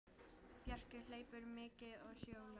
Bjarki hleypur mikið og hjólar.